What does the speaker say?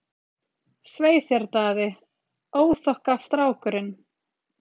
Svei þér Daði, óþokkastrákurinn!